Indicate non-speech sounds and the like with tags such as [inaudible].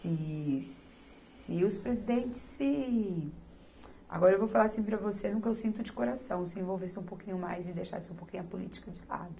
Se, [noise] se os presidentes se... Agora eu vou falar assim para você, no que eu sinto de coração, se envolvesse um pouquinho mais e deixasse um pouquinho a política de lado.